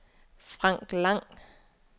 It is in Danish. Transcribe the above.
Frank Lang